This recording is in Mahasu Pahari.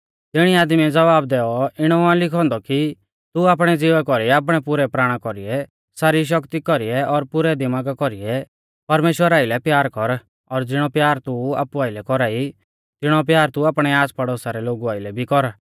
तिणी आदमीऐ ज़वाब दैऔ इणौ आ लिखौ औन्दौ कि तू आपणै ज़िवा कौरीऐ आपणै पुरै प्राणा कौरीऐ सारी शक्ति कौरीऐ और पुरै दिमागा कौरीऐ परमेश्‍वरा आइलै प्यार कर और ज़िणौ प्यार तू आपु आइलै कौरा ई तिणौ प्यार तू आपणै आसपड़ोसा रै लोगु आइलै भी कर